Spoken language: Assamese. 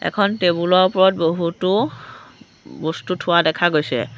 এখন টেবুলৰ ওপৰত বহুতো বস্তু থোৱা দেখা গৈছে।